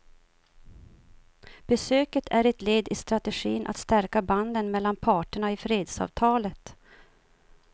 Besöket är ett led i strategin att stärka banden mellan parterna i fredsavtalet.